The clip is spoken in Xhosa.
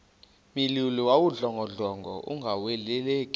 mlilo wawudlongodlongo ungalawuleki